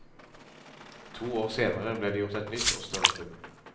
To år senere ble det gjort et nytt og større funn.